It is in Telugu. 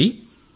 అదితీ